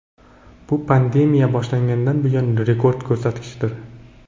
Bu pandemiya boshlangandan buyon rekord ko‘rsatkichdir.